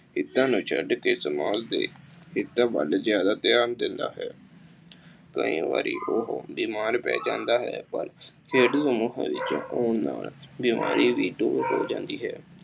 ਹਿੱਤਾਂ ਨੂੰ ਛੱਡਕੇ ਸਮਾਜ ਦੇ ਹਿੱਤਾਂ ਵੱਲ ਜ਼ਿਆਦਾ ਧਿਆਨ ਦਿੰਦਾ ਹੈ। ਕਈ ਵਾਰੀ ਉਹ ਬਿਮਾਰ ਪੈ ਜਾਦਾ ਹੈ, ਪਰ ਖੇਡ ਸਮੂਹਾਂ ਵਿੱਚ ਹੋਣ ਨਾਲ ਬਿਮਾਰੀ ਵੀ ਦੂਰ ਹੋ ਜਾਂਦੀ ਹੈ।